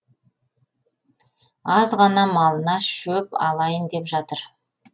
аз ғана малына шөп алайын деп жатыр